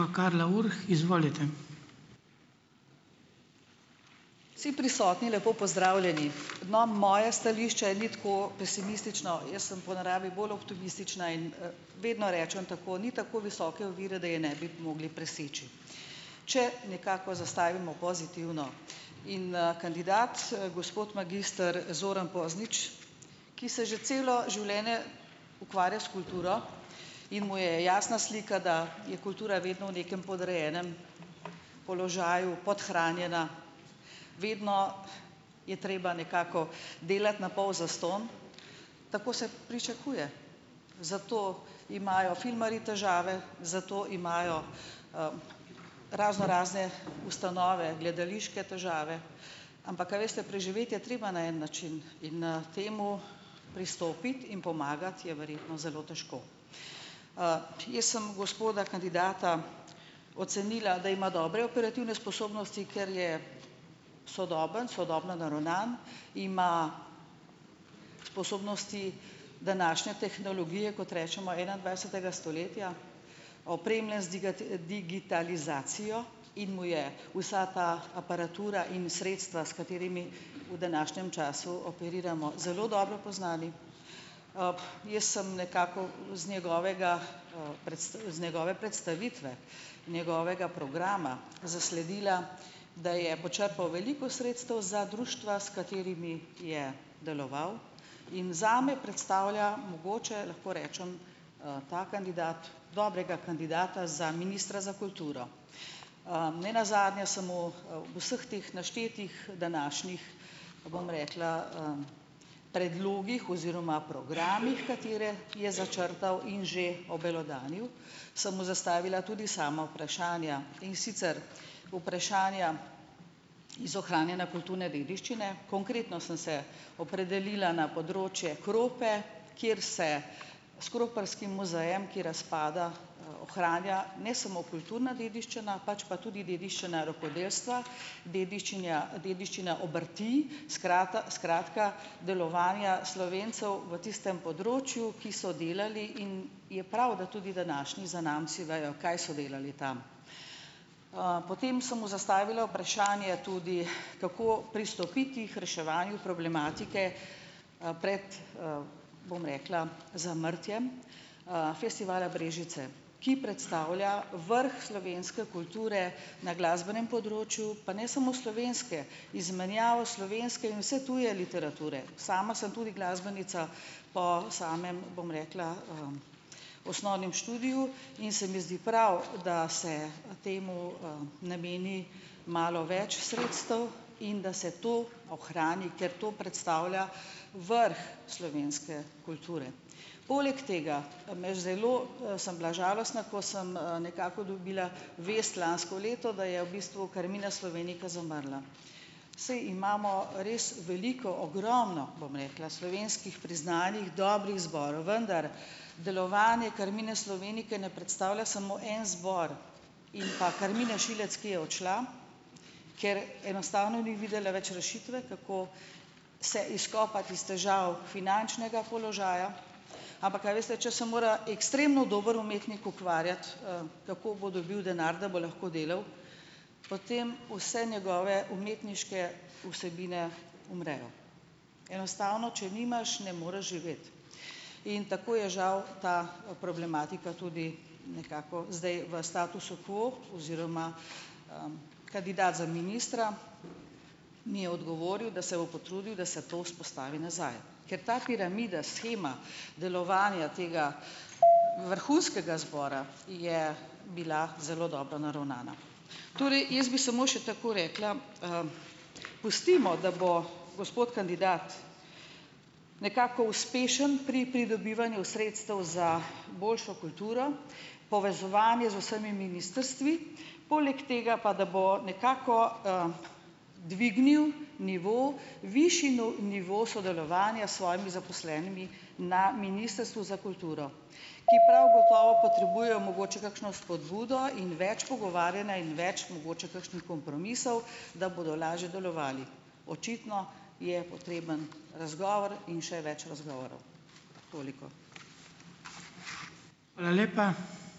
Karla Urh, izvolite. Vsi prisotni lepo pozdravljeni, no, moje stališče ni tako pesimistično, jaz sem po naravi bolj optimistična in, vedno rečem tako, ni tako visoke ovire, da je ne bi mogli preseči, če nekako zastavimo pozitivno, in, kandidat, gospod magister Zoran Poznič, ki se že celo življenje ukvarja s kulturo in mu je jasna slika, da je kultura vedno v nekem podrejenem položaju, podhranjena, vedno je treba nekako delati na pol zastonj, tako se pričakuje, zato imajo filmarji težave, zato imajo, raznorazne ustanove, gledališke težave, ampak a veste, preživeti je treba na en način in, temu pristopiti in pomagati je verjetno zelo težko, jaz sem gospoda kandidata ocenila, da ima dobre operativne sposobnosti, ker je sodoben, sodobno naravnan, ima sposobnosti današnje tehnologije, kot rečemo enaindvajsetega stoletja, opremlja z digitalizacijo in mu je vsaka aparatura in sredstva, s katerimi v današnjem času operiramo, zelo dobro poznanim, jaz sem nekako z njegovega, z njegove predstavitve, njegovega programa zasledila, da je počrpal veliko sredstev za društva, s katerimi je deloval, in zame predstavlja mogoče, lahko rečem, ta kandidat dobrega kandidata za ministra za kulturo, nenazadnje sem mu, vseh teh naštetih današnjih, bom rekla, predlogih oziroma programih, katere je začrtal in že obelodanil, sem mu zastavila tudi sama vprašanja, in sicer vprašanja iz ohranjanja kulturne dediščine, konkretno sem se opredelila na področje Krope, kjer se s kroparskim muzejem, ki razpada, ohranja ne samo kulturna dediščina, pač pa tudi dediščina rokodelstva, dediščinja, dediščina obrti, skrata, skratka delovanja Slovencev v tistem področju, ki so delali, in je prav, da tudi današnji zanamci vejo, kaj so delali tam, potem sem mu zastavila vprašanje tudi, kako pristopiti k reševanju problematike, pred, bom rekla, zamrtjem, Festivala Brežice, ki predstavlja vrh slovenske kulture na glasbenem področju, pa ne samo slovenske, izmenjavo slovenske in vse tuje literature, sama sem tudi glasbenica po samem, bom rekla, osnovnem študiju in se mi zdi prav, da se, temu, nameni malo več sredstev in da se to ohrani, ker to predstavlja vrh slovenske kulture, poleg tega pa me zelo, sem bila žalostna, ko sem, nekako dobila vest lansko leto, da je v bistvu Carmina Slovenica izumrla, saj imamo res veliko ogromno, bom rekla, slovenskih priznanih dobrih zborov, vendar delovanje Carmine Slovenice ne predstavlja samo en zbor in pa Karmine Šilec, ki je odšla, ker enostavno ni videla več rešitve, kako se izkopati iz težav finančnega položaja, ampak a veste, če se mora ekstremno dober umetnik ukvarjati, kako bo dobil denar, da bo lahko delal, potem vse njegove umetniške vsebine umrejo, enostavno če nimaš, ne moreš živeti, in tako je žal ta problematika tudi nekako zdaj v statusu quo oziroma, kandidat za ministra mi je odgovoril, da se bo potrudil, da se to vzpostavi nazaj, ker ta piramida, shema delovanja tega vrhunskega zbora je bila zelo dobro naravnana, torej jaz bi samo še tako rekla, pustimo, da bo gospod kandidat nekako uspešen pri pridobivanju sredstev za boljšo kulturo, povezovanje z vsemi ministrstvi, poleg tega pa da bo nekako, dvignil nivo, višji nivo sodelovanja s svojimi zaposlenimi na ministrstvu za kulturo, ki prav gotovo potrebuje mogoče kakšno spodbudo in več pogovarjanja in več mogoče kakšnih kompromisov, da bodo lažje delovali, očitno je potreben razgovor in še več razgovorov. Toliko. Hvala lepa.